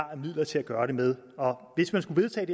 af midler til at gøre det med hvis man skulle vedtage